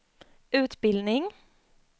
utbildning